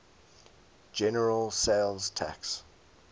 general sales tax